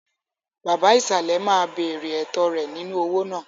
Baba ìsàlẹ̀ máa béèrè ẹ̀tọ́ rẹ̀ nínú owó náà.